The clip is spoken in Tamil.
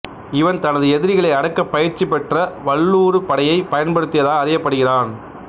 இவன் தனது எதிரிகளை அடக்க பயிற்சி பெற்ற வல்லூறுப் படையைப் பயன்படுத்தியதாக அறியப்படுகிறான்